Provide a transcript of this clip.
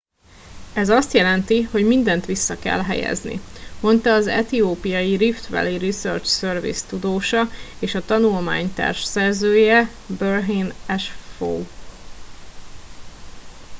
ez azt jelenti hogy mindent vissza kell helyezni - mondta az etiópiai rift valley research service tudósa és a tanulmány társszerzője berhane asfaw